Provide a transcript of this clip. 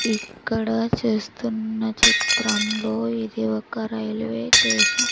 ఇక్కడ చేస్తున్న చిత్రంలో ఇది ఒక రైల్వే టేషన్ .